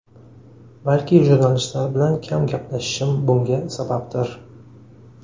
Balki jurnalistlar bilan kam gaplashishim bunga sababdir.